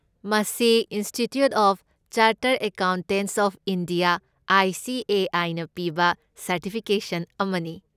ꯃꯁꯤ institute of chartered accountants of India I. C. A. I. ꯅ ꯄꯤꯕ certification ꯑꯃꯅꯤ꯫